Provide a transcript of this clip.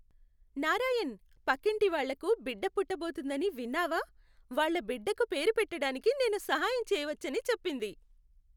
నారాయణ్, పక్కింటి వాళ్లకు బిడ్డ పుట్టబోతోందని విన్నావా? వాళ్ల బిడ్డకు పేరు పెట్టటానికి నేను సహాయం చెయ్యవచ్చని చెప్పింది.